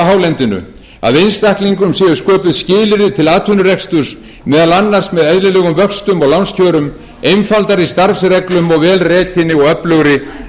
hálendinu að einstaklingum séu sköpuð skilyrði til atvinnurekstri meðal annars með eðlilegum vöxtum og lánskjörum einfaldari starfsreglum og vel rekinni og öflugri